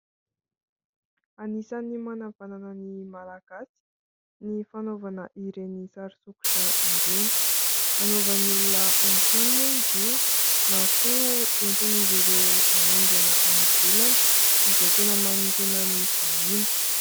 Anisan'ny manavanana ny Malagasy ny fanaovana ireny sary sokitra ireny. Hanaovan'ny olona haingon-trano moa izy io, na koa entin'izy ireo aondrana any ivelany izay tena manintona ny vahiny.